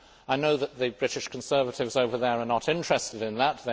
I know that the British Conservatives over there are not interested in that.